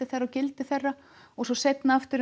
þeirra og gildi þeirra svo seinna er